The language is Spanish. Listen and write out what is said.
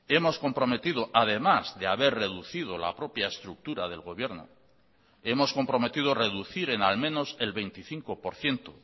hemos comprometido además de haber reducido la propia estructura del gobierno hemos comprometido reducir en al menos el veinticinco por ciento